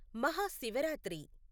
Mahashivratri